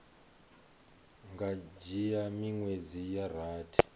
nga dzhia miṅwedzi ya rathi